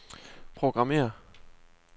programmér